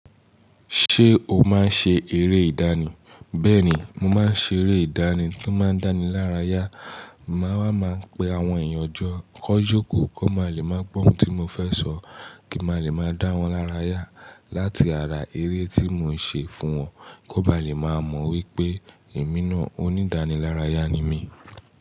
Ṣé o máa ń ṣe eré ìdánì? Bẹ́ẹ̀ni, mo máa ń ṣe eré ìdánì tó máa ń dáni lára yá. Màá máa pe àwọn èèyàn jọ kó jókòó kó máa lè máa gbó ohun tí mo fẹ́ sọ kí n máa lè máa dá wọn lára yá láti ara eré tí mò ń ṣe fún wọn kó ba lè máa mọ̀ wípé èmi náà onídànílárayà ni mí.